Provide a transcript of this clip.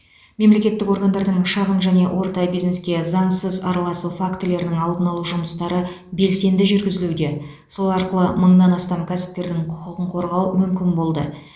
мемлекеттік органдардың шағын және орта бизнеске заңсыз араласу фактілерінің алдын алу жұмыстары белсенді жүргізілуде сол арқылы мыңнан астам кәсіпкердің құқығын қорғау мүмкін болды